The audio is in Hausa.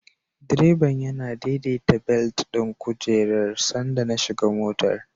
Direban yana daidaita belet ɗin kujerar sanda na shiga motar.